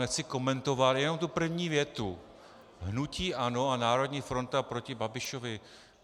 Nechci komentovat, jenom tu první větu - hnutí ANO a národní fronta proti Babišovi...